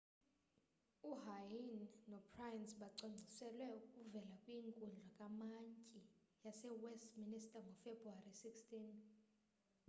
uhuhne nopryce bacwangciselwe ukuvela kwinkundla kamantyi yasewestminster ngofebruwari 16